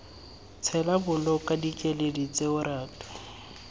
tshela boloka dikeledi tseo ratu